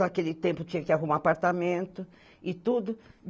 Naquele tempo tinha que arrumar apartamento e tudo.